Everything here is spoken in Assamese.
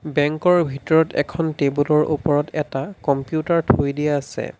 বেংকৰ ভিতৰত এখন টেবুলৰ ওপৰত এটা কম্পিউটাৰ থৈ দিয়া আছে।